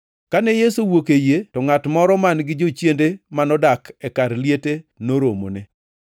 Kane Yesu owuok e yie, to ngʼat moro man-gi jochiende manodak e kar liete noromone.